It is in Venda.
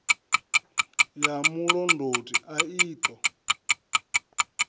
ya mulondoti a i ṱo